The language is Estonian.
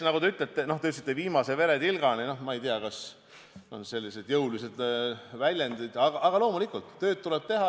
Nagu te ütlete – te ütlesite viimase veretilgani, no ma ei tea, kas on vaja selliseid jõulisi väljendeid –, loomulikult, tööd tuleb teha.